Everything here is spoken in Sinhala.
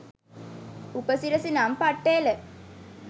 උපසිරසි නම් පට්ට එල